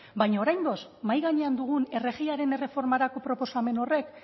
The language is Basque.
baina oraingoz mahai gainean dugun rgiaren erreformarako proposamen horrek